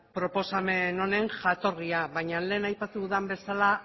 proposamen honen jatorria baina lehen aipatu den bezala